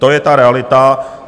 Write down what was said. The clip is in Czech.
To je ta realita.